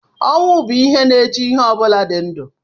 Ọnwụ bụ ihe na-eche ihe ọ bụla dị ndụ